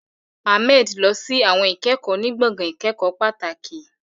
Ahmed lọ sí àwọn ìkẹ́kọ̀ọ́ ní gbọ̀ngàn ìkẹ́kọ̀ọ́ pàtàkì.